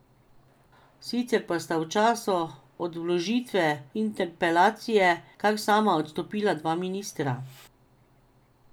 Sicer pa sta v času od vložitve interpelacije kar sama odstopila dva ministra.